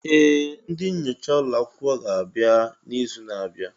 Ee! Ndị nyocha ụlọ akwụkwọ ga-abịa n'izu na-abịa.